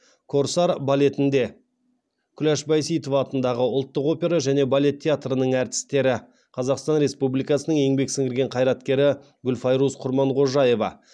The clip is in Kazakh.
корсар балетінде күләш байсейітова атындағы ұлттық опера және балет театрының әртістері қазақстан республикасының еңбек сіңірген қайраткері гүлфайрус құрманғожаева